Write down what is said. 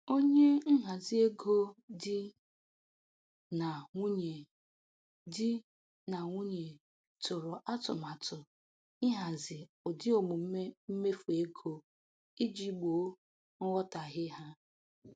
Onye nhazi ego di na nwunye di na nwunye tụrụ atụmatụ ihazi ụdị omume mmefu ego iji gboo nghọtahie ha.